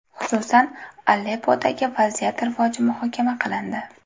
Xususan, Aleppodagi vaziyat rivoji muhokama qilindi.